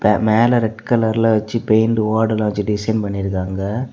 மேல ரெட் கலர்ல வச்சு பெயிண்ட் ஓடல்லா வெச்சு டிசைன் பண்ணி இருக்காங்க.